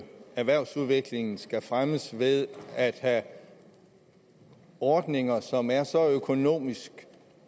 erhvervsudviklingen skal fremmes ved at have ordninger som er så økonomisk